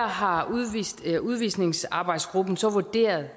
har udvisningsarbejdsgruppen så vurderet